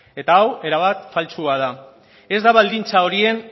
eta hau erabat faltsua da ez da baldintza horien